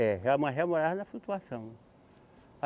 É, morava na flutuação.